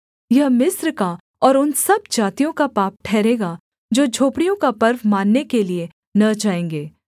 यह मिस्र का और उन सब जातियों का पाप ठहरेगा जो झोपड़ियों का पर्व मानने के लिये न जाएँगे